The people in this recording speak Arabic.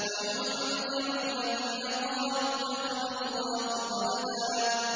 وَيُنذِرَ الَّذِينَ قَالُوا اتَّخَذَ اللَّهُ وَلَدًا